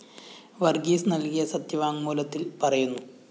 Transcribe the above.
വര്‍ഗീസ് നല്‍കിയ സത്യവാങ്മൂലത്തില്‍ പറയുന്നു